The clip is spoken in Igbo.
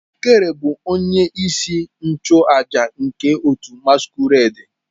Okere bu onye isi nchu aja nke otu masquerade.